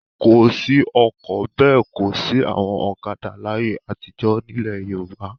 Kò sí ọkọ̀ bẹ́ẹ̀ kò sí àwọn ọ̀kadà láyé àtijọ́ nílẹ̀ Yorùbá.